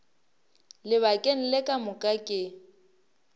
lebakeng le ka moka ke